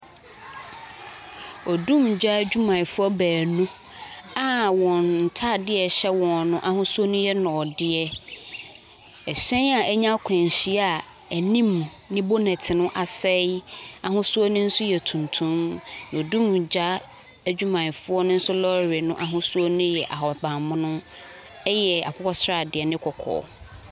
Odumgya adwumayɛfoɔ baanu a wɔn ntaadeɛ a ɛhyɛ wɔn no ahosuo no yɛ nɔɔdeɛ. Ɛhyɛn a anya akwanhyia a anim ne bonɛt no asɛe ahosuo no nso yɛ tuntum. Adumgya adwumayɛfoɔ no nso lɔre no ahosuo ne yɛ akokɔsradeɛ ne kɔkɔɔ.